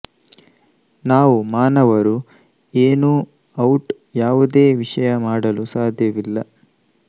ನಾವು ಮಾನವರು ಏನೂ ಔಟ್ ಯಾವುದೇ ವಿಷಯ ಮಾಡಲು ಸಾಧ್ಯವಿಲ್ಲ